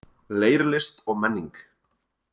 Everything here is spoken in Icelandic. Leirlist og menning